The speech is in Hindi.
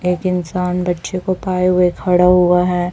एक इंसान बच्चे को पाए हुए खड़ा हुआ है।